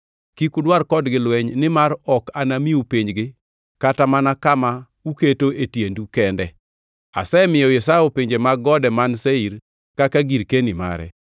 Kik udwar kodgi lweny nimar ok anamiu pinygi kata mana kama uketo e tiendu kende. Asemiyo Esau pinje mag gode man Seir kaka girkeni mare.